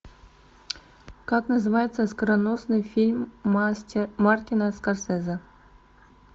как называется оскароносный фильм мартина скорсезе